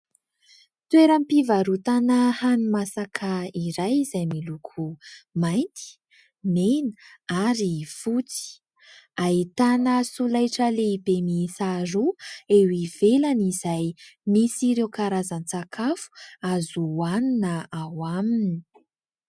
toeray mpivarotana hano masaka iray izay miloko mainty nena ary voty ahitana solaitra lehibe misaharoa eo ivelana izay nisy ireo karazan-tsakafo azohoanina na ao aminy